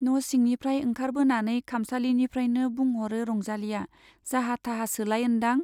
न' सिंनिफ्राइ ओंखारबोनानै खामसालिनिफ्राइनो बुंह'रो रंजालीया, जाहा-थाहासोलाय ओन्दां ?